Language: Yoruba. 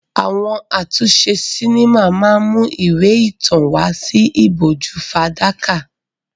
Àwọn àtúnṣe sinimá máa ń mú ìwé ìtàn wá sí ìbòjú fàdákà.